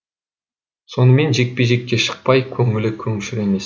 сонымен жекпе жекке шықпай көңілі көншір емес